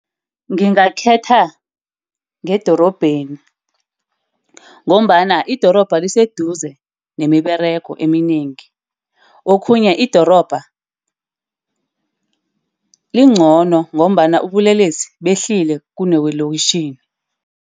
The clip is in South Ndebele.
Ngingakhetha ngedorobheni ngombana idorobha liseduze nemiberego eminengi. Okhunye idorobha lincono ngombana ubulelesi behlile kunewelokitjhini.